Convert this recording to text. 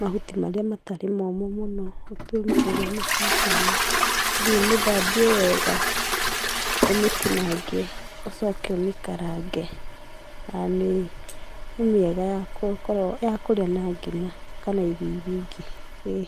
mahuti marĩa matarĩ momũ mũno. ũtue ĩrĩ mĩcacana, ũthiĩ ũmĩthambie wega, ũmĩtinangie ũcoke ũmĩkarange. Na nĩ, nĩ mĩega ya kũrĩa na ngima kana irio iria ingĩ ĩĩ.